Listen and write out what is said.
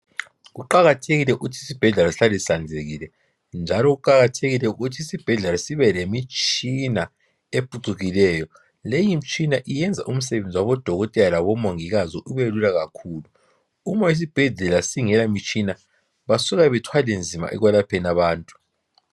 Kuqakathekile ukuthi isibhedlela sihlale sihlanzekile njalo kuqakathekile ukuthi isibhedlela sibelemitshina ephucukileyo leyimitshina iyenza umsebenzi wabo dokotela labomongikazi ubelula kakhulu uma isibhedlela singela mitshina basuke bathwale nzima ekwelapheni abantu.